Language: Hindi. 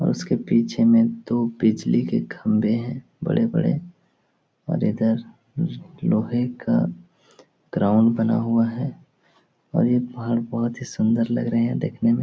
और उसके पीछे में दो बिजली के खंभे है बड़े-बड़े और इधर ल लोहे का ग्राउंड बना हुआ है और ये पहाड़ बहोत ही सुंदर लग रहे हैं देखने में।